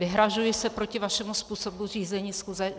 Vyhrazuji se proti vašemu způsobu řízení schůze.